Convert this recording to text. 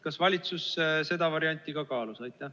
Kas valitsus seda varianti ka kaalus?